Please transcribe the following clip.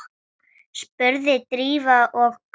spurði Drífa og kökkur